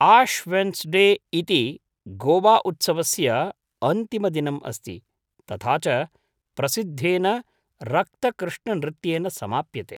Ash Wednesday इति गोवाउत्सवस्य अन्तिमदिनम् अस्ति, तथा च प्रसिद्धेन रक्तकृष्णनृत्येन समाप्यते।